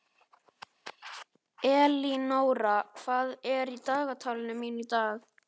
Elínóra, hvað er í dagatalinu mínu í dag?